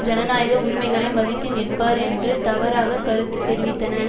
ஜனநாயக உரிமைகளை மதித்து நிற்பார் என்று தவறாக கருத்து தெரிவித்தன